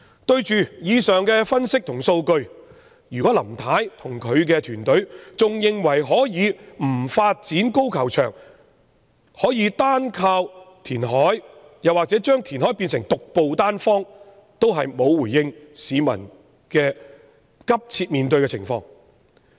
對於以上分析和數據，如果林太與其團隊仍然認為可以不發展高球場，而能單靠填海或把填海變成獨步單方，就是未能回應市民面對的迫切情況。